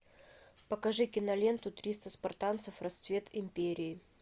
покажи киноленту триста спартанцев расцвет империи